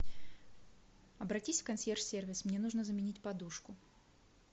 обратись в консьерж сервис мне нужно заменить подушку